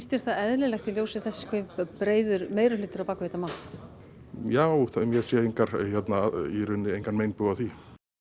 þér það eðlilegt í ljósi þess hve breiður meirihluti er á bak við þetta mál já ég sé engan engan meinbug á því